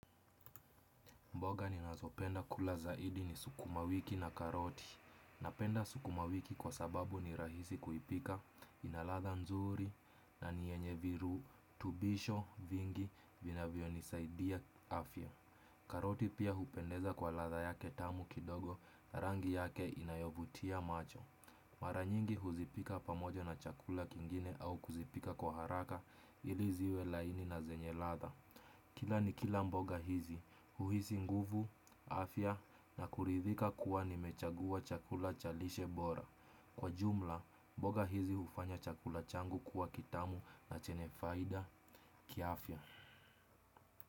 Mboga ninazopenda kula zaidi ni sukuma wiki na karoti. Napenda sukuma wiki kwa sababu ni rahisi kuipika, ina ladha nzuri na ni yenye virutubisho vingi vinavyonisaidia afya. Karoti pia hupendeza kwa ladha yake tamu kidogo, rangi yake inayovutia macho. Mara nyingi huzipika pamoja na chakula kingine au kuzipika kwa haraka ili ziwe laini na zenye ladha. Kila nikila mboga hizi, huhisi nguvu, afya na kuridhika kuwa nimechagua chakula cha lishe bora. Kwa jumla, mboga hizi hufanya chakula changu kuwa kitamu na chenye faida kiafya.